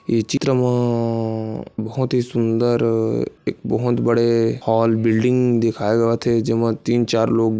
ए चित्र म बहुत ही सुंदर एक बहुत बड़े हॉल बिल्डिंग दिखाए देवत हे जेमे तीन चार लोग--